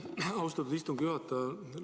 Aitäh, austatud istungi juhataja!